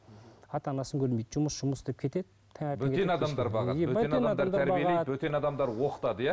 ата анасын көрмейді жұмыс жұмыс деп кетеді бөтен адамдар оқытады иә